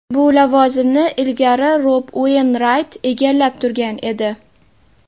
Bu lavozimni ilgari Rob Ueynrayt egallab turgan edi.